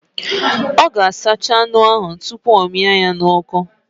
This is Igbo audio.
Ọ ga-asacha anụ ahụ tupu ọ mịa ya n'ọkụ